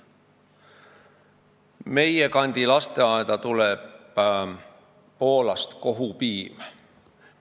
Meie kandi lasteaeda tuleb kohupiim Poolast.